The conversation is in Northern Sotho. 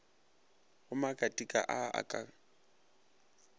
go makatika a a ka